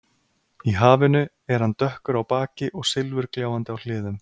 Í hafinu er hann dökkur á baki og silfurgljáandi á hliðum.